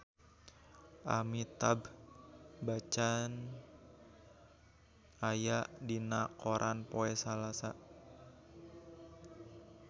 Amitabh Bachchan aya dina koran poe Salasa